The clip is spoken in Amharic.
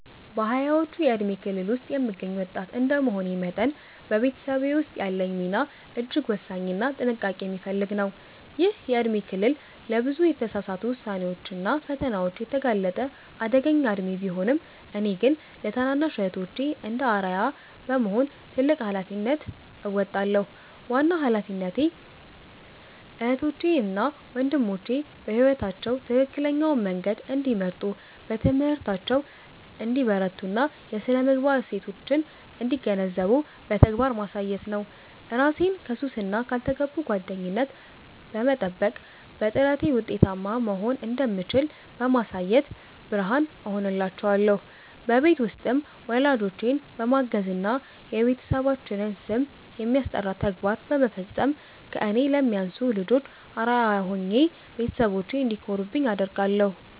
በሃያዎቹ የእድሜ ክልል ውስጥ የምገኝ ወጣት እንደመሆኔ መጠን፤ በቤተሰቤ ውስጥ ያለኝ ሚና እጅግ ወሳኝና ጥንቃቄ የሚፈልግ ነው። ይህ የእድሜ ክልል ለብዙ የተሳሳቱ ውሳኔዎችና ፈተናዎች የተጋለጠ አደገኛ እድሜ ቢሆንም፤ እኔ ግን ለታናናሽ እህቶቼ እንደ አርአያ በመሆን ትልቅ ኃላፊነት እወጣለሁ። ዋናው ኃላፊነቴ እህቶቼ እና ወንድሞቼ በሕይወታቸው ትክክለኛውን መንገድ እንዲመርጡ፣ በትምህርታቸው እንዲበረቱና የሥነ-ምግባር እሴቶችን እንዲገነዘቡ በተግባር ማሳየት ነው። እራሴን ከሱስና ካልተገቡ ጓደኝነት በመጠበቅ፤ በጥረቴ ውጤታማ መሆን እንደምችል በማሳየት ብርሃን እሆናቸዋለሁ። በቤት ውስጥም ወላጆቼን በማገዝና የቤተሰባችንን ስም የሚያስጠራ ተግባር በመፈጸም ከእኔ ለሚያንሱ ልጆች አርአያ ሆኜ ቤተሰቦቼ እንዲኮሩብኝ አደርጋለሁ።